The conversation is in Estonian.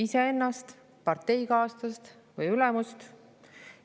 Iseennast, parteikaaslast või ülemust?